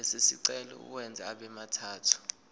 lesicelo uwenze abemathathu